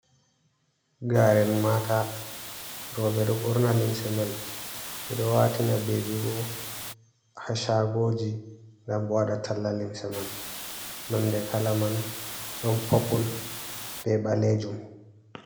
Garen maata, roube do borna limse man ɓe do watina bebii bo ha shagoji ngam ɓe waɗa talla limse man, nonde kala man don poppul be baleejum.